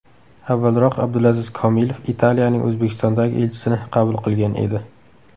Avvalroq Abdulaziz Komilov Italiyaning O‘zbekistondagi elchisini qabul qilgan edi .